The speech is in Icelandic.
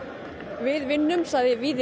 við vinnum sagði Víðir